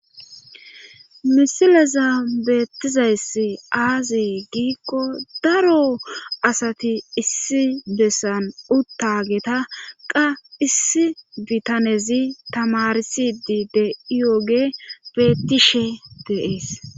misileza beettizayssi aazi giikko daro asati issi bessan uttageta qa issi bitanezi tamarsidi de7iyooge bettishe deees